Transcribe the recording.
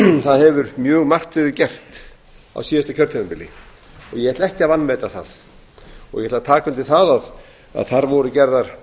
það hefur mjög margt verið gert á síðasta kjörtímabili og ég ætla ekki að að meta það ég ætla að taka undir það að þar voru gerðar